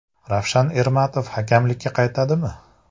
Ravshan Ermatov hakamlikka qaytadimi?